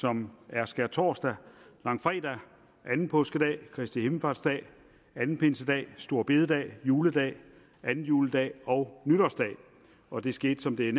som er skærtorsdag langfredag anden påskedag kristi himmelfartsdag anden pinsedag store bededag juledag anden juledag og nytårsdag og det skete som det er